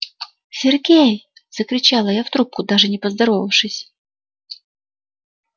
сергей закричала я в трубку даже не поздоровавшись